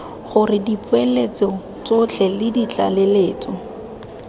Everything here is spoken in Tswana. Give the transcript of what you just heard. gore dipoeletso tsotlhe le ditlaleletso